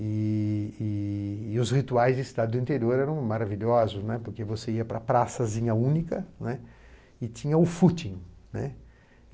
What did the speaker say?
E e... os rituais de estado do interior eram maravilhosos, né, porque você ia para a praçazinha única né e tinha o footing, né.